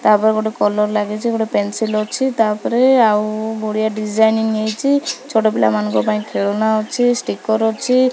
ତା ପରେ ଗୋଟେ କଲର୍ ଲାଗିଚି ଗୋଟେ ପେନ୍ସିଲ ଅଛି। ତା ପରେ ଆଉ ବଢ଼ିଆ ଡିଜାଇନ୍ନିଂ ହେଇଚି। ଛୋଟ ପିଲମାନଙ୍କ ପାଇଁ ଖେଳନା ଅଛି ଷ୍ଟିକର ଅଛି।